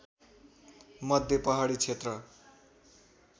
मध्य पहाडी क्षेत्र